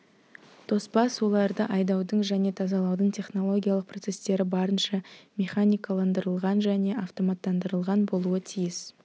тоспа суларды айдаудың және тазалаудың технологиялық процесстері барынша механикаландырылған және автоматтандырылған болуы тиіс